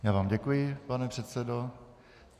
Já vám děkuji, pane předsedo.